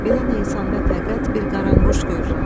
Belə Neysanda fəqət bir qaranquş görürəm.